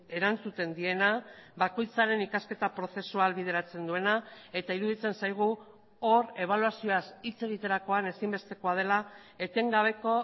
erantzuten diena bakoitzaren ikasketa prozesua ahalbideratzen duena eta iruditzen zaigu hor ebaluazioaz hitz egiterakoan ezinbestekoa dela etengabeko